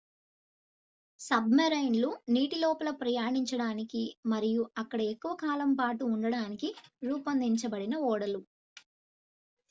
sub marine లు నీటి లోపల ప్రయాణించడానికి మరియు అక్కడ ఎక్కువ కాలం పాటు ఉండటానికి రూపొందించబడిన ఓడలు